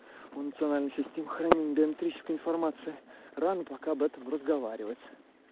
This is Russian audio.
функциональная система хранения биометрическая информации рано пока об этом разговаривать